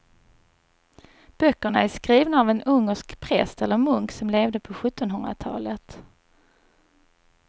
Böckerna är skrivna av en ungersk präst eller munk som levde på sjuttonhundratalet.